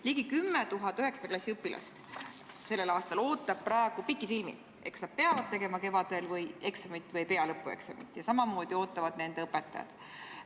" Ligi 10 000 selle aasta üheksanda klassi õpilast ootab praegu pikisilmi, kas nad peavad tegema kevadel eksamit või ei pea, ja samamoodi ootavad nende õpetajad.